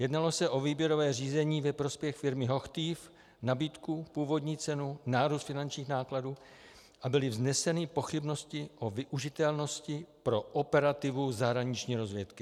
Jednalo se o výběrové řízení ve prospěch firmy HOCHTIEF, nabídku, původní cenu, nárůst finančních nákladů a byly vzneseny pochybnosti o využitelnosti pro operativu zahraniční rozvědky.